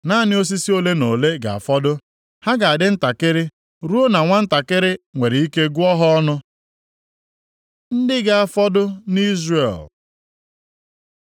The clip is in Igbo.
Naanị osisi ole na ole ga-afọdụ, ha ga-adị ntakịrị ruo na nwantakịrị nwere ike gụọ ha ọnụ. Ndị ga-afọdụ nʼIzrel